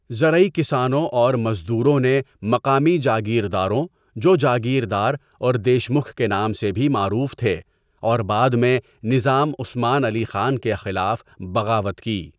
زرعی کسانوں اور مزدوروں نے مقامی جاگیرداروں، جو جاگیردار اور دیشمکھ کے نام سے بھی معروف تھے، اور بعد میں نظام عثمان علی خان کے خلاف بغاوت کی۔